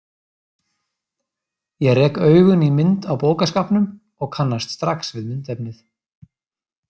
Ég rek augun í mynd á bókaskápnum og kannast strax við myndefnið.